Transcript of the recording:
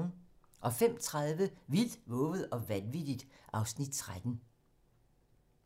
05:30: Vildt, vovet og vanvittigt (Afs. 13)